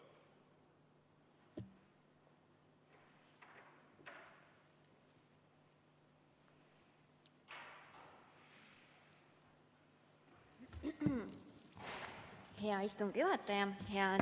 Hea istungi juhataja!